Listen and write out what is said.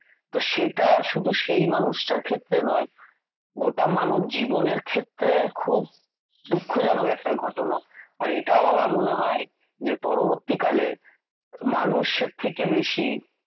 তো সেটা শুধু সেই মানুষটার ক্ষেত্রে নয় গোটা মানবজীবনের ক্ষেত্রে খুব দুঃখজনক একটা ঘটনা। আর এটাও আমার মনে হয় যে পরবর্তীকালে মানুষের থেকে বেশী